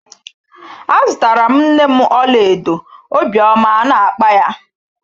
A zụtara m nne m ọlaedo obiọma a na-akpa ya.